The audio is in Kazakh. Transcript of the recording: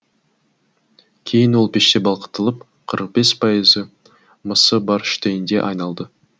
кейін ол пеште балқытылып қырық бес пайызы мысы бар штейнге айналады